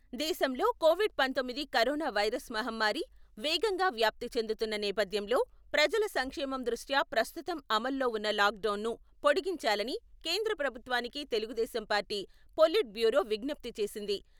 దేశంలో కొవిడ్ పంతొమ్మిది corona virus మహమ్మారి వేగంగా వ్యాప్తి చెందుతున్న నేపథ్యంలో ప్రజల సంక్షేమం దృష్ట్యా ప్రస్తుతం అమలులో ఉన్న లాక్డౌన్‌ను పొడిగించాలని కేంద్ర ప్రభుత్వానికి తెలుగుదేశం పార్టీ పొలిట్ బ్యూరో విజ్ఞప్తి చేసింది.